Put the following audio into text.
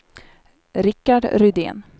Rikard Rydén